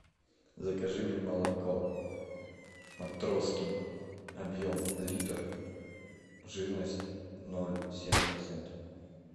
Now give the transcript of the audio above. закажи мне молоко матроскин объем литр жирность ноль семь процентов